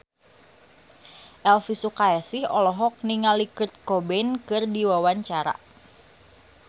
Elvi Sukaesih olohok ningali Kurt Cobain keur diwawancara